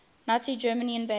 nazi germany invaded